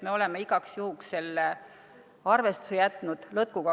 Me oleme igaks juhuks selle arvestuse jätnud lõtkuga.